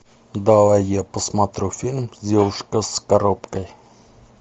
давай я посмотрю фильм девушка с коробкой